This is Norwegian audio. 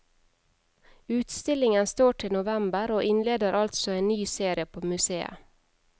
Utstillingen står til november, og innleder altså en ny serie på museet.